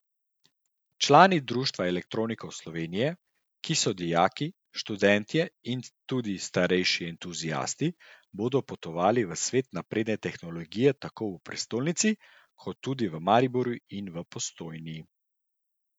Člani Društva elektronikov Slovenije, ki so dijaki, študentje in tudi starejši entuziasti, bodo potovali v svet napredne tehnologije tako v prestolnici, kot tudi v Mariboru in v Postojni.